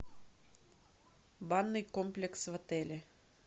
банный комплекс в отеле